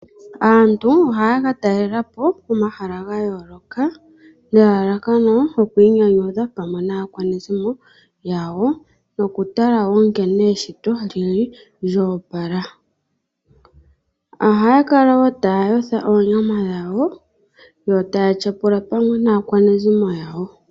Aantu ohaya ka talelapo pomahala ga yooloka nelalakano lyoku inyanudha pamwe naakwanezimo yawo noku tala nkene eshito li li lyo opala. Ohaya kala taya yotha oonyama dhawo yo taya tyapula pamwe naakwanezimo yawo.